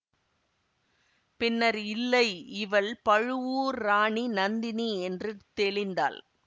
பின்னர் இல்லை இவள் பழுவூர் ராணி நந்தினி என்று தெளிந்தாள்